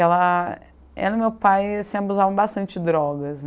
Ela e meu pai se abusavam bastante de drogas.